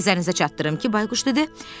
Nəzərinizə çatdırım ki, Bayquş dedi.